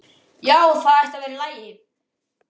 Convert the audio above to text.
Já, það ætti að vera í lagi.